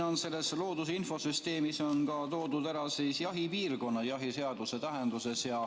Siin selles looduse infosüsteemis on toodud ära ka jahipiirkond jahiseaduse tähenduses.